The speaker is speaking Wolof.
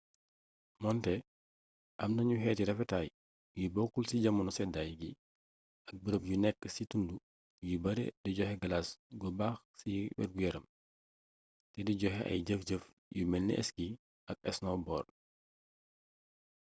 moonte am nanu xeeti rafetaay yu bokkul ci jamono seddaay gi ak bërëb yu nekk ci tund yu bare di jot galas gu bare baax c wergu yaram te d joxe ay jëf jëf yu melni ski ak snowboard